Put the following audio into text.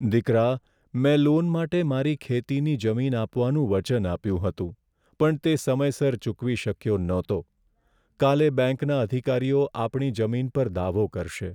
દીકરા, મેં લોન માટે મારી ખેતીની જમીન આપવાનું વચન આપ્યું હતું પણ તે સમયસર ચૂકવી શક્યો નહોતી. કાલે બેંકના અધિકારીઓ આપણી જમીન પર દાવો કરશે.